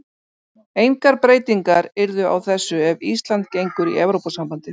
Engar breytingar yrðu á þessu ef Ísland gengur í Evrópusambandið.